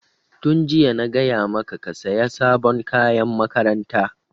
Tun jiya na gaya maka ka saya sabon kayan makaranta!